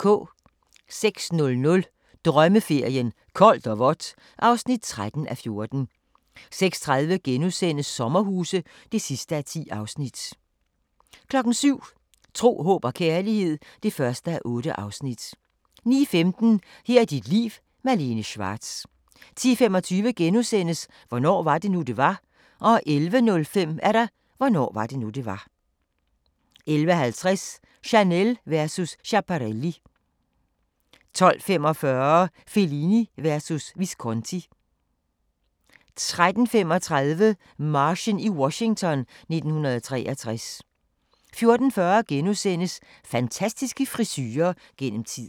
06:00: Drømmeferien: Koldt og vådt (13:14) 06:30: Sommerhuse (10:10)* 07:00: Tro, håb og kærlighed (1:8) 09:15: Her er dit liv – Malene Schwartz 10:25: Hvornår var det nu, det var? * 11:05: Hvornår var det nu, det var? 11:50: Chanel versus Schiaparelli 12:45: Fellini versus Visconti 13:35: Marchen i Washington 1963 14:40: Fantastiske frisurer gennem tiden *